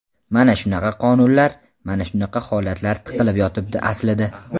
Mana shunaqa qonunlar, mana shunaqa holatlar tiqilib yotibdi aslida.